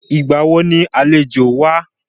Ìgbà wo ni àlejò wá?